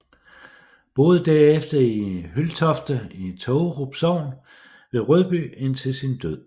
Boede derefter i Hyldtofte i Tågerup Sogn ved Rødby indtil sin død